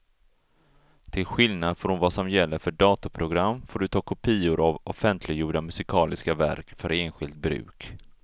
Till skillnad från vad som gäller för datorprogram får du ta kopior av offentliggjorda musikaliska verk för enskilt bruk.